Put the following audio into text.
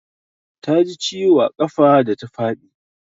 Ta ji ciwo a ƙafa da ta faɗi.